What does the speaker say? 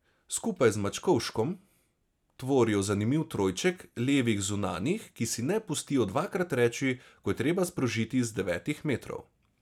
Skupaj z Mačkovškom tvorijo zanimiv trojček levih zunanjih, ki si ne pustijo dvakrat reči, ko je treba sprožiti z devetih metrov.